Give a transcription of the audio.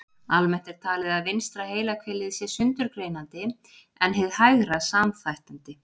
Almennt er talið að vinstra heilahvelið sé sundurgreinandi en hið hægra samþættandi.